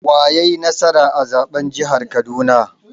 Wa yai nasara a zaɓen jihar Kaduna?